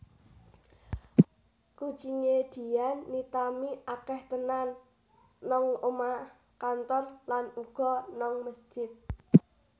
Kucing e Dian Nitami akeh tenan nang omah kantor lan uga nang mesjid